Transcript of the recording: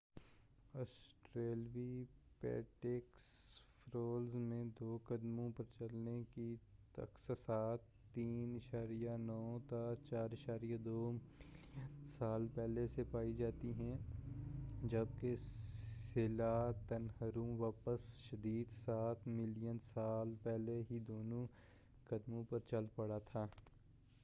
Australopithecus fossils میں دو قدموں پر چلنے کی تخصصات 4.2-3.9 ملین سال پہلے سے پائی جاتی ہیں، جبکہ سیلانتھروپس شاید سات ملین سال پہلے ہی دونوں قدموں پر چل پڑا تھا۔